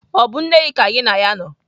Ọ bụ nne gị ka gị na ya nọ?